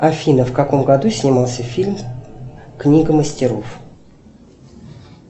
афина в каком году снимался фильм книга мастеров